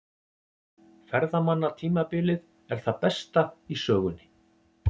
Ferðamannatímabilið er það besta í sögunni